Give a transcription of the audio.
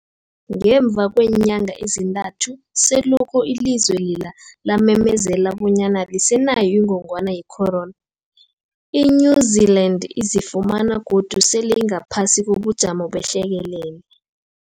Ngemva kweenyanga ezintathu selokhu ilizwe lela lamemezela bonyana alisenayo ingogwana ye-corona, i-New-Zealand izifumana godu sele ingaphasi kobujamo behlekelele.